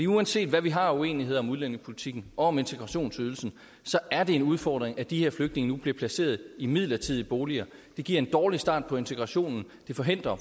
uanset hvad vi har af uenigheder om udlændingepolitikken og om integrationsydelsen er det en udfordring at de her flygtninge nu bliver placeret i midlertidige boliger det giver en dårlig start på integrationen det forhindrer